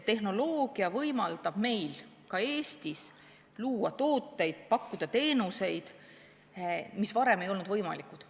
Tehnoloogia võimaldab meil ka Eestis luua tooteid ja pakkuda teenuseid, mis varem ei olnud võimalikud.